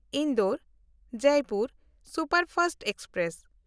Indore-Jaipur superfast express